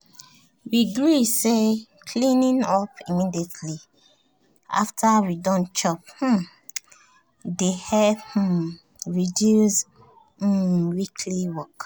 we gree say cleaning up immediately after we don chop um dey help um reduce um weekly work